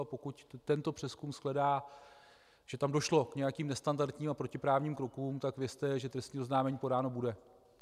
A pokud tento přezkum shledá, že tam došlo k nějakým nestandardním a protiprávním krokům, tak vězte, že trestní oznámení podáno bude.